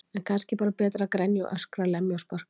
En kannski er bara betra að grenja og öskra, lemja og sparka.